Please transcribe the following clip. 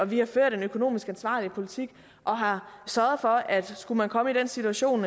vi har ført en økonomisk ansvarlig politik og har sørget for at skulle komme i den situation